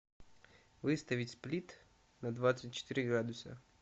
выставить сплит на двадцать четыре градуса